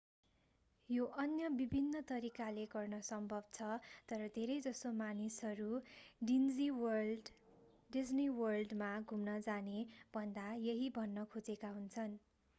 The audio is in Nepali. यो अन्य विभिन्न तरिकाले गर्न सम्भव छ तर धेरैजसो मानिसहरू डिज्नी वर्ल्डमा घुम्न जाने भन्दा यही भन्न खोजेका हुन्छन्